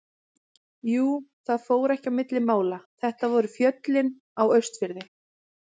Jú, það fór ekki á milli mála, þetta voru fjöllin á Austurfirði.